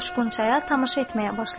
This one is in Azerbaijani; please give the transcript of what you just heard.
Coşqun çaya tamaşa etməyə başladı.